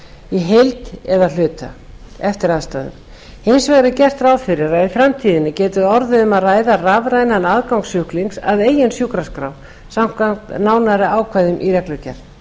í heild eða að hluta eftir aðstæðum hins vegar er gert ráð fyrir að í framtíðinni geti orðið um að ræða rafrænan aðgang sjúklings að eigin sjúkraskrá samkvæmt nánari ákvæðum í reglugerð